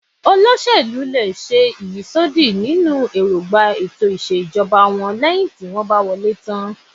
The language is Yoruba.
Olóṣèlú lè ṣe ìyísódì nínú erongba ètò ìṣèjọba wọ́n leyin ti won ba wole tan